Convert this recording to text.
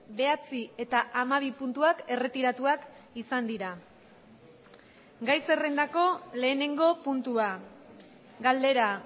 bederatzi eta hamabi puntuak erretiratuak izan dira gai zerrendako lehenengo puntua galdera